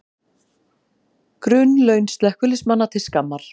Grunnlaun slökkviliðsmanna til skammar